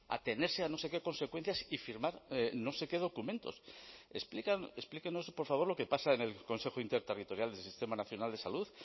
atenerse a no sé qué consecuencias y firmar no sé qué documentos explíquenos por favor lo que pasa en el consejo interterritorial del sistema nacional de salud